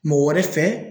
Mɔgɔ wɛrɛ fɛ